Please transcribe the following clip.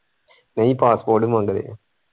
ਨਹੀਂ passport ਹੀ ਮੰਗਦੇ ਹੈ।